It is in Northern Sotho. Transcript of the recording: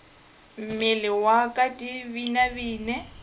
mmele wa ka di binabine